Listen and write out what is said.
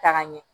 Taga ɲɛ